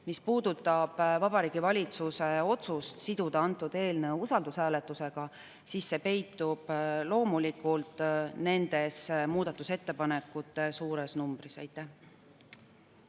Mis puudutab Vabariigi Valitsuse otsust siduda antud eelnõu usaldushääletusega, siis vastus peitub loomulikult muudatusettepanekute suures.